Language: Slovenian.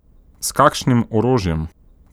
S kakšnim orožjem?